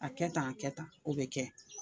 A kɛ tan, a kɛ tan, o bɛ kɛ.